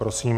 Prosím.